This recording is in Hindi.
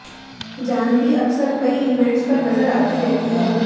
जाहन्वी अक्सर कई ईवेंट्स पर नजर आती रहती हैं